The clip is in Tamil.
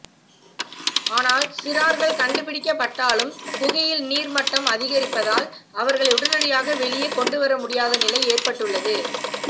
ஆனால் சிறார்கள் கண்டுபிடிக்க பட்டாலும் குகையில் நீர் மட்டம் அதிகரிப்பதால் அவர்களை உடனடியாக வெளியே கொண்டுவரமுடியாத நிலை ஏற்பட்டுள்ளது